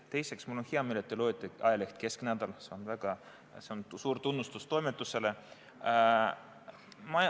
Teiseks, mul on hea meel, et te loete ajalehte Kesknädal, see on suur tunnustus toimetusele.